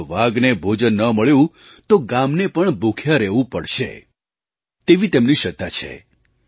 જો વાઘને ભોજન ન મળ્યું તો ગામને પણ ભૂખ્યા રહેવું પડશે તેવી તેમની શ્રદ્ધા છે